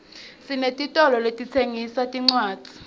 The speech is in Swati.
sinetitolo letitsengisa tincwadzi